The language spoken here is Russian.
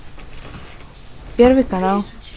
первый канал